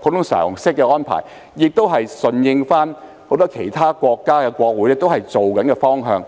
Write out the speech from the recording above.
普通常識的安排，也是順應很多其他國家的國會正在實行的方向。